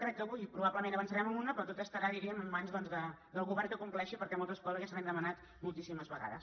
crec que avui probablement avan·çarem amb una però tot estarà diríem en mans del govern que ho compleixi perquè moltes coses ja se li han demanat moltíssimes vegades